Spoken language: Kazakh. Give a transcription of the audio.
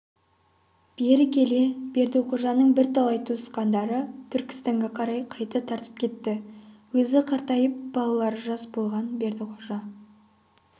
бері келе бердіқожаның бірталай туысқандары түркістанға қарай қайта тартып кетті өзі қартайып балалары жас болған бердіқожа